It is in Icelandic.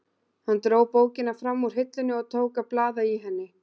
Hann dró bókina fram úr hillunni og tók að blaða í henni.